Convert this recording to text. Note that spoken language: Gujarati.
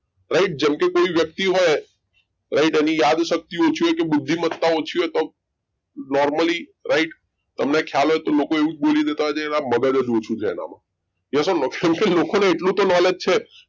Right જેમ કે કોઈ વ્યક્તિ હોય right એની યાદશક્તિ ઓછી હોય બુદ્ધિમત્તા ઓછી હોય તો normally right તમને ખ્યાલ હોય તો લોકો એવું જ બોલી દેતા હોય છે આ મગજ જ ઓછું છે એનામાં yes or no કેમ કે લોકોને એટલું તો knowledge છે